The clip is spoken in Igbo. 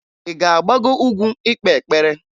Ị ga-agbago ugwu ikpe ekpere?